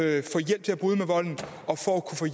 altså hjælp til at bryde med volden og